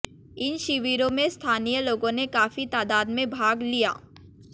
इन शिविरों में स्थानीय लोगों ने काफी तादाद में भाग लिया